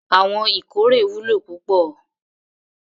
Awon ikore wulo pupo